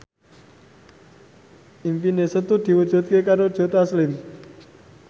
impine Setu diwujudke karo Joe Taslim